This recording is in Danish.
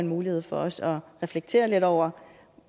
mulighed for også at reflektere lidt over